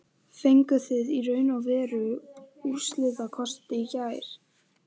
Fenguð þið í raun og veru úrslitakosti í gær?